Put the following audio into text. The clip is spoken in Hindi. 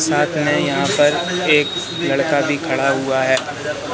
साथ में यहां पर एक लड़का भी खड़ा हुआ है।